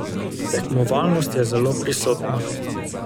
Tekmovalnost je zelo prisotna.